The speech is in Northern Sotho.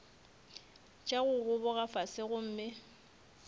tša go gogoba fase gomme